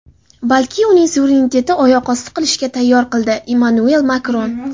balki uning suverenitetini oyoq osti qilishga qaror qildi – Emmanuel Makron.